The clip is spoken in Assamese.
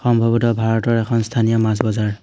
সম্ভৱত ভাৰতৰ এখন স্থানীয় মাছ বজাৰ।